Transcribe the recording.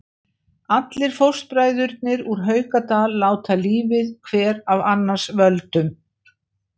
Allir fóstbræðurnir úr Haukadal láta lífið, hver af annars völdum.